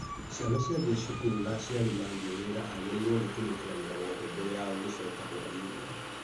Ciana ciathiĩ cukuru na aciari mathiĩ wĩra agĩrĩirwo nĩ kũrĩkia wĩra wothe mbere yao gũcoka hwa-inĩ.